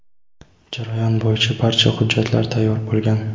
Jarayon bo‘yicha barcha hujjatlar tayyor bo‘lgan.